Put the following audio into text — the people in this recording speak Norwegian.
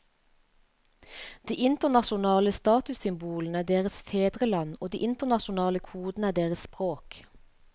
De internasjonale statussymbolene er deres fedreland og de internasjonale kodene er deres språk.